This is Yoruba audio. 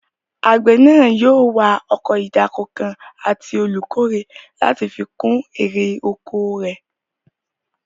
Àgbẹ̀ náà yóò wá ọkọ̀ ìdáko kan àti olùkórè láti fi kún èrè oko rẹ̀